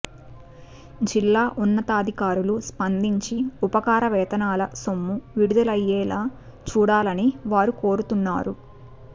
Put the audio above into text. జిల్లా ఉన్నతాధికారులు స్పందించి ఉపకార వేతనాల సొమ్ము విడుదలయ్యేలా చూడాలని వారు కోరుతున్నారు